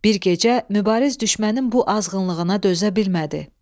Bir gecə Mübariz düşmənin bu azğınlığına dözə bilmədi.